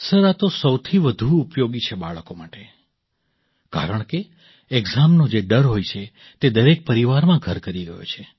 sir આ તો સૌથી વધુ ઉપયોગી છે બાળકો માટે કારણકે ઍક્ઝામનો જે ડર હોય છે તે દરેક પરિવારમાં ઘર કરી ગયો છે